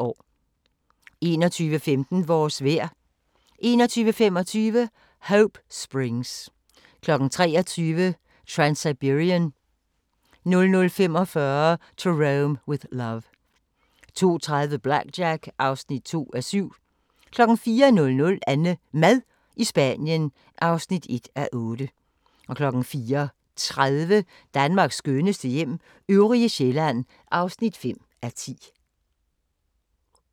21:15: Vores vejr 21:25: Hope Springs 23:00: Transsiberian 00:45: To Rome with Love 02:30: BlackJack (2:7) 04:00: AnneMad i Spanien (1:8) 04:30: Danmarks skønneste hjem - øvrige Sjælland (5:10)